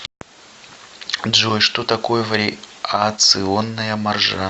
джой что такое вариационная маржа